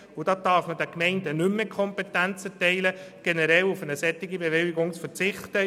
Dabei darf man den Gemeinden nicht die Kompetenz erteilen, generell auf eine solche Bewilligung zu verzichten.